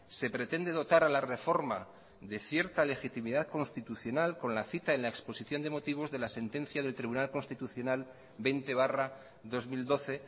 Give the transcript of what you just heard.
se pretende dotar a la reforma de cierta legitimidad constitucional con la cita en la exposición de motivos de la sentencia del tribunal constitucional veinte barra dos mil doce